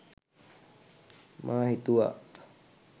මා හිතුවා